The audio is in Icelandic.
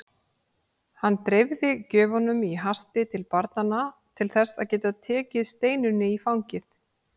Hann dreifði gjöfunum í hasti til barnanna til þess að geta tekið Steinunni í fangið.